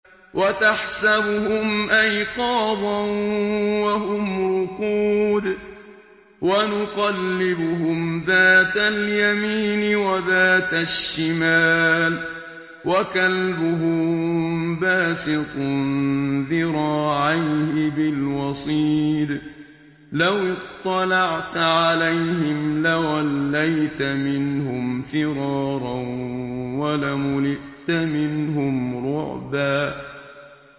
وَتَحْسَبُهُمْ أَيْقَاظًا وَهُمْ رُقُودٌ ۚ وَنُقَلِّبُهُمْ ذَاتَ الْيَمِينِ وَذَاتَ الشِّمَالِ ۖ وَكَلْبُهُم بَاسِطٌ ذِرَاعَيْهِ بِالْوَصِيدِ ۚ لَوِ اطَّلَعْتَ عَلَيْهِمْ لَوَلَّيْتَ مِنْهُمْ فِرَارًا وَلَمُلِئْتَ مِنْهُمْ رُعْبًا